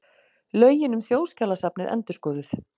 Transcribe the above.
Lögin um Þjóðskjalasafnið endurskoðuð